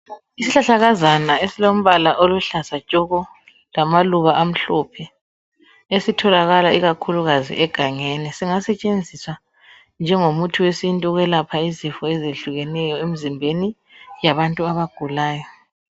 isihlahlakazana esilamahlamvu aluhlaza tsoko lamaluba amhlophe esitholakala ikakhulukazi egangeni singasetshenziswa njengo muthi wesintu ukwelapha izifo ezihlukeneyo emzimbeni yabantu abagulayo